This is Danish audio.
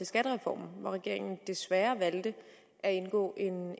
skattereformen hvor regeringen desværre valgte at indgå